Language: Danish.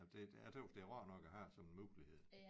Jamen det jeg tøs det rart nok at have sådan en mulighed